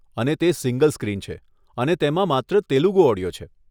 અને તે single screen છે અને તેમાં માત્ર તેલુગુ ઓડિયો છે.